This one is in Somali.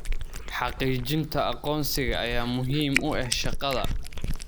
Xaqiijinta aqoonsiga ayaa muhiim u ah shaqada.